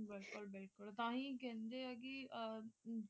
ਬਿਲਕੁਲ ਬਿਲਕੁਲ ਤਾਂ ਹੀ ਕਹਿੰਦੇ ਹੈ ਕਿ